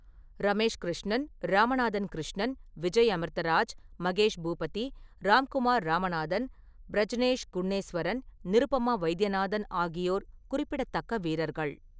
ரமேஷ் கிருஷ்ணன், ராமநாதன் கிருஷ்ணன், விஜய் அமிர்தராஜ், மகேஷ் பூபதி, ராம்குமார் ராமநாதன், பிரஜ்னேஷ் குன்னேஸ்வரன், நிருபமா வைத்தியநாதன் ஆகியோர் குறிப்பிடத்தக்க வீரர்கள்.